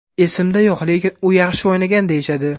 Esimda yo‘q, lekin u yaxshi o‘ynagan deyishadi.